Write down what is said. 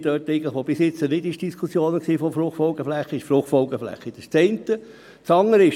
es werden Flächen einbezogen, die keine Fruchtfolgeflächen mehr sind oder Fruchtfolgeflächen, die überhaupt nicht existieren.